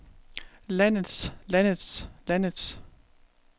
landets landets landets